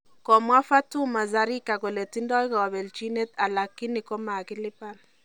Komwa Fatuma Zarika kole tindoi kapelchinet alakini ko makilipan